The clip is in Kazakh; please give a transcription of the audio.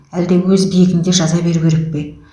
әлде өз биігінде жаза беру керек пе